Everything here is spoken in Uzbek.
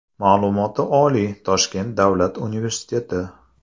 Ma’lumoti oliy, Toshkent Davlat universiteti.